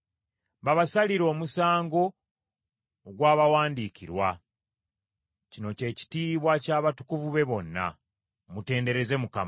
babasalire omusango ogwabawandiikirwa. Kino kye kitiibwa ky’abatukuvu be bonna. Mutendereze Mukama .